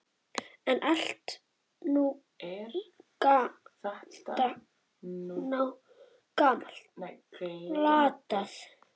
En allt er þetta nú glatað.